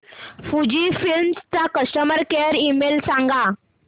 Fujifilm चा customer care email सांगा